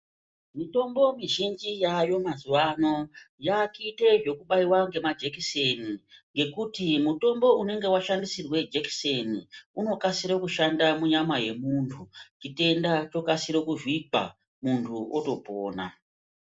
Mitombo mizhinji yaayo mazuva ano yaakuite zvekubaiwa nemajekiseni. Ngekuti mutombo unenge washandisirwe jekiseni unokasire kushanda munyama yemuntu chitenda chotokasire kuvhikwa, muntu otopona.